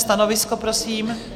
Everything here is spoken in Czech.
Stanovisko, prosím?